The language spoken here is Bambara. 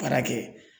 Baara kɛ